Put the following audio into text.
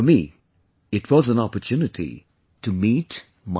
For me, it was an opportunity to meet myself